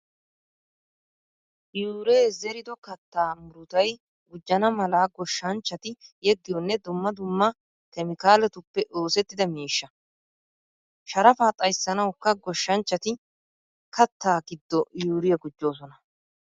Yuuree zerido kattaa murutay gujjana mala goshshanchchati yeggiyoonne dumma dumma keemikaaletuppe oosettida miishsha. Sharafaa xayssanawukka goshshanchchati kaattaa giddo yuuriyaa gujjoosona.